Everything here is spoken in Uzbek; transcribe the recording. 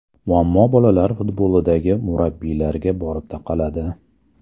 Muammo bolalar futbolidagi murabbiylarga borib taqaladi.